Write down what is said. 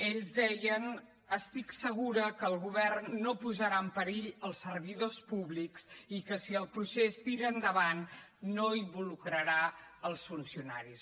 ells deien estic segura que el govern no posarà en perill els servidors públics i que si el procés tira endavant no hi involucrarà els funcionaris